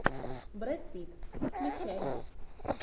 брэд питт включай